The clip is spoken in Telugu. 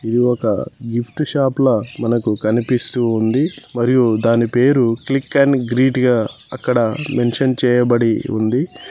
ఇది ఒక గిఫ్ట్ షాప్ ల మనకు కనిపిస్తూ ఉంది మరియు దాని పేరు క్లిక్ ఎన్ గ్రీట్ గా అక్కడ మెన్షన్ చేయబడి ఉంది.